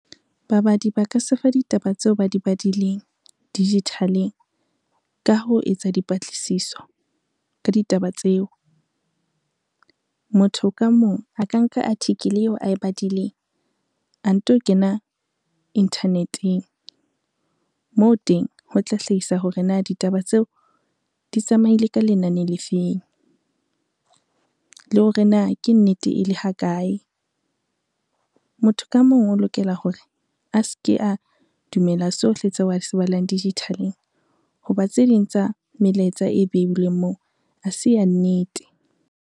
Babadi ba ka sefa ditaba tseo ba di badileng digital-eng, ka ho etsa dipatlisiso ka ditaba tseo. Motho ka mong a ka nka article eo ae badileng a nto kena inthaneteng moo teng, ho tla hlahisa hore na ditaba tseo di tsamaile ka lenane le feng, le hore na ke nnete e le ha kae. Motho ka mong o lokela hore a se ke a dumela tsohle tseo a se balang digital-eng ho ba tse ding tsa melaetsa e beilweng moo, ha se ya nnete.